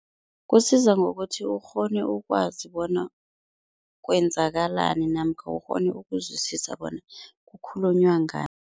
Kusiza ngokuthi ukghone ukwazi bona kwenzakalani namkha ukghone ukuzwisisa bona kukhulunywa ngani.